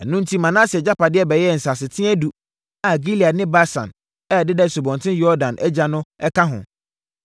Ɛno enti Manase agyapadeɛ bɛyɛɛ nsasetea edu a Gilead ne Basan a ɛdeda Asubɔnten Yordan agya no ka ho,